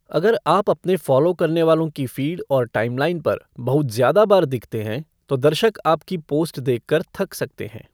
अगर आप अपने फॉलो करने वालों की फीड और टाइमलाइन पर बहुत ज़्यादा बार दिखते हैं, तो दर्शक आपकी पोस्ट देखकर थक सकते हैं।